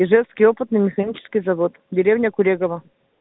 ижевский опытно-механический завод деревня курегово